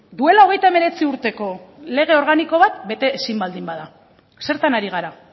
duela hogeita hemeretzi urteko lege organiko bat bete ezin baldin bada zertan ari gara